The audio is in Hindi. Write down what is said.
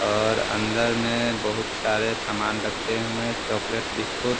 और अंदर में बहुत सारे समान रखे हुए हैं चॉकलेट बिस्कुट ।